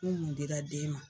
Fɛn mun dira den ma.